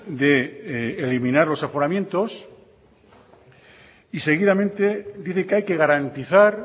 de eliminar los aforamientos y seguidamente dice que hay que garantizar